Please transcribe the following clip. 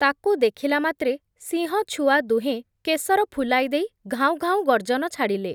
ତାକୁ ଦେଖିଲାମାତ୍ରେ ସିଂହଛୁଆ ଦୁହେଁ, କେଶର ଫୁଲାଇ ଦେଇ, ଘାଉଁ ଘାଉଁ ଗର୍ଜନ ଛାଡ଼ିଲେ ।